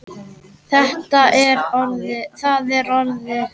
Það er orðið.